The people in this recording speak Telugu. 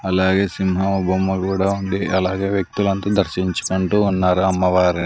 అలాగే సింహం బొమ్మ కూడా ఉంది అలాగే వ్యక్తులు అంత దర్శించుకుంటూ ఉన్నారు అమ్మవారి --